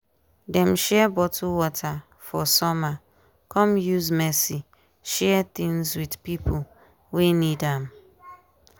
dem share bottle water for summer come use mercy share things with pipo wey need am.